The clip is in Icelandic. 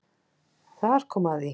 Þar kom að því